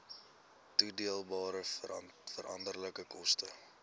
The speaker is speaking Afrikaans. toedeelbare veranderlike koste